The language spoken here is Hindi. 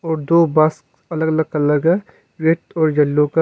और दो बस अलग अलग कलर का रेड और येलो का--